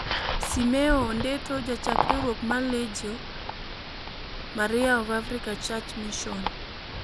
Simeo Ondeto, Jachak riwruok mar Lejio (Legio) Maria of African Church Mission,